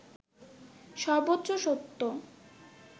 সর্বচ্চ সত্য